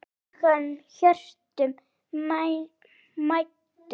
huggun hjörtum mæddum